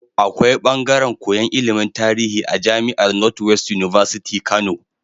Akwai bangaren koyan ilimin tarihi a jamiar north west university Kano